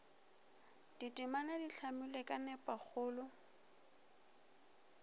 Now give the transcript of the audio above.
ditemana di hlamilwe ka nepagalo